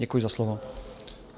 Děkuji za slovo.